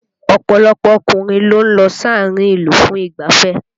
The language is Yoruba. Ọ̀pọ̀lọpọ̀ ọkùnrin ló ń lọ sáàárín ìlú fún ìgbáfẹ́